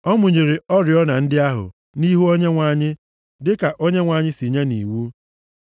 Ọ mụnyere oriọna ndị ahụ nʼihu Onyenwe anyị dịka Onyenwe anyị si nye nʼiwu.